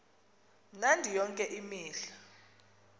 mnandi yonke imihla